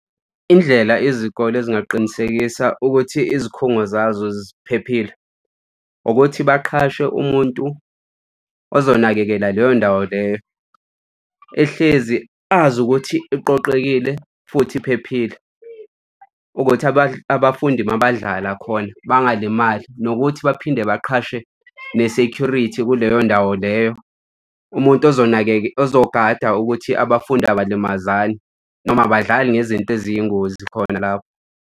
Indlela izikole ezingaqinisekisa ukuthi izikhungo zazo ziphephile. Ukuthi baqhashe umuntu ozonakekela leyo ndawo leyo, ehlezi azi ukuthi iqoqekile futhi iphephile ukuthi abafundi uma badlala khona bangalimali. Nokuthi baphinde baqhashe ne-security kuleyo ndawo leyo umuntu ozogada ukuthi abafundi abalimazani noma abadlali ngezinto eziyingozi khona lapho.